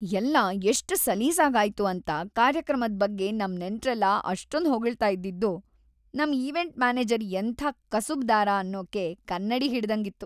ಎಲ್ಲ ಎಷ್ಟ್ ಸಲೀಸಾಗಾಯ್ತು ಅಂತ ಕಾರ್ಯಕ್ರಮದ್‌ ಬಗ್ಗೆ ನಮ್ ನೆಂಟ್ರೆಲ್ಲ ಅಷ್ಟೊಂದ್ ಹೊಗಳ್ತಾ ಇದ್ದಿದ್ದು ನಮ್ ಈವೆಂಟ್ ಮ್ಯಾನೇಜರ್ ಎಂಥ ಕಸುಬ್ದಾರ ಅನ್ನೋಕೆ ಕನ್ನಡಿ ಹಿಡ್ದಂಗಿತ್ತು.